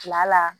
Tila la